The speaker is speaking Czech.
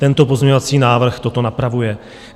Tento pozměňovací návrh toto napravuje.